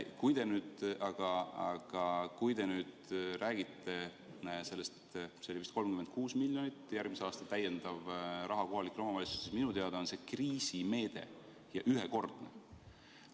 Kui te nüüd räägite sellest 36 miljonist eurost – oli vist selline summa, mis järgmisel aastal lisarahana kohalikele omavalitsustele antakse –, siis see on minu teada kriisimeede ja ühekordne.